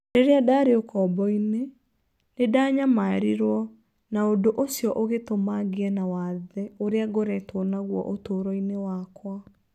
Rĩrĩa ndaarĩ ũkombo-inĩ, nĩ ndanyamarirwo na ũndũ ũcio ũgĩtũma ngĩe na wathe ũrĩa ngoretwo naguo ũtũũro-inĩ wakwa